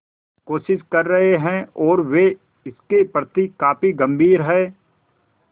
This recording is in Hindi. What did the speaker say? कोशिश कर रहे हैं और वे इसके प्रति काफी गंभीर हैं